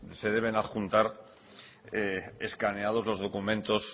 se deben adjuntar escaneados los documentos